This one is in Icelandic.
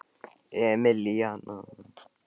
Emilíana